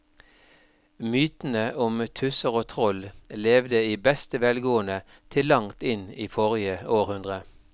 Mytene om tusser og troll levde i beste velgående til langt inn i forrige århundre.